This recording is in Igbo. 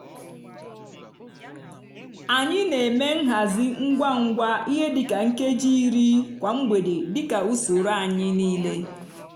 anyị n'eme nhazi ngwa ngwa ihe di ka nkeji iri kwa mgbede dika usoro anyi niile